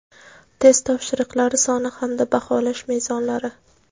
test topshiriqlari soni hamda baholash mezonlari.